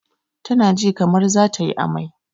Ta na ji kamar za tayi amai